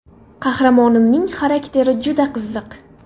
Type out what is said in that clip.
Qahramonimning xarakteri juda qiziq.